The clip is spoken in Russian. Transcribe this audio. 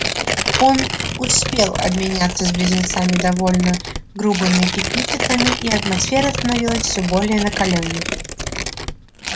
он успел обменяться с близнецами довольно грубыми эпитетами и атмосфера становилась всё более накалённой